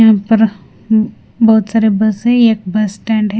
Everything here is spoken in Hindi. बहोत सारे बस है एक बस स्टैंड है।